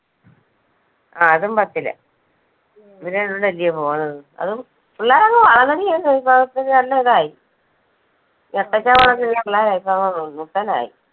ആ അതും പത്തിലാ, ഇവര് രണ്ടു പേരും കൂടെ അല്ലിയോ പോണത്, അതും പിള്ളേരങ്ങ് വളർന്നെടി അങ്ങ് ഇപ്പൊ, ഇപ്പൊ നല്ല ഇതായി പിള്ളേരാ ഇപ്പൊ ആയി.